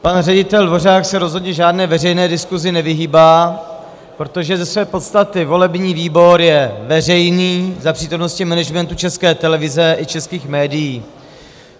Pan ředitel Dvořák se rozhodně žádné veřejné diskusi nevyhýbá, protože ze své podstaty volební výbor je veřejný za přítomnosti managementu České televize i českých médií.